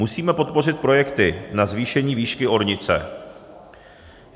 Musíme podpořit projekty na zvýšení výšky ornice.